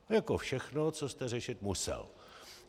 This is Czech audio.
Jako všechno, co jste řešit musel.